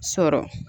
Sɔrɔ